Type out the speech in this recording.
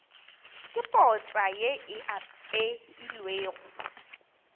ke potsa ye e apeilwego